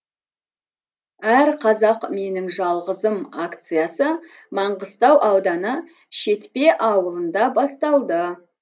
әрқазақ менің жалғызым акциясы маңғыстау ауданы шетпе ауылында басталды